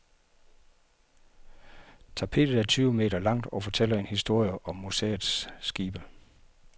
Tapetet er tyve meter langt og fortæller en historie om museets skibe.